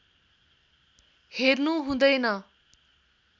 हेर्नु हुँदैन